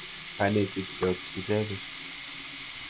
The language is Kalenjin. Kanetik chok icheket.